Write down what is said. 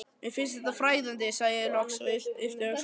Mér finnst þetta fræðandi, sagði ég loks og yppti öxlum.